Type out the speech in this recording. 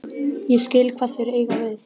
Ég skil hvað þeir eiga við.